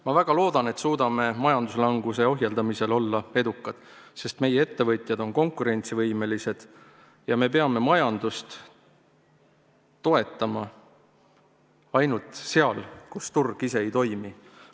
Ma väga loodan, et suudame majanduslanguse ohjeldamisel olla edukad, sest meie ettevõtjad on konkurentsivõimelised ja me peame majandust toetama ainult seal, kus turg ise ei toimi.